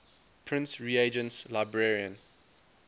prince regent's librarian